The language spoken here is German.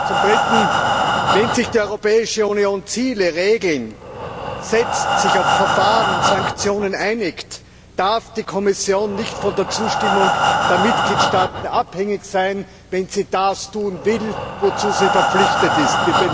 Zum Dritten Wenn sich die Europäische Union Ziele, Regeln setzt, sich auf Verfahren und Sanktionen einigt, darf die Kommission nicht von der Zustimmung der Mitgliedstaaten abhängig sein, wenn sie das tun will, wozu sie verpflichtet ist.